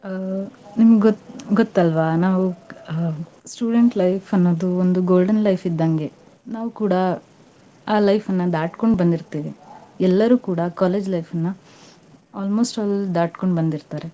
ಆ ನಿಮ್ ಗೊ~ ಗೊತ್ತಲ್ವಾ, ನಾವು, ಹಾ student life ಅನ್ನೋದು ಒಂದ್ golden life ಇದ್ದಂಗೆ. ನಾವೂ ಕೂಡಾ ಆ life ನಾ ದಾಟ್ಕೊಂಡ್ ಬಂದಿರ್ತೇವಿ. ಎಲ್ಲರೂ ಕೂಡಾ college life ನಾ almost all ದಾಟ್ಕೊಂಡ್ ಬಂದಿರ್ತಾರ್.